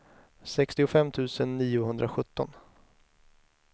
sextiofem tusen niohundrasjutton